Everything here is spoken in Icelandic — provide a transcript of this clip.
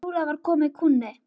Trúlega var kominn kúnni.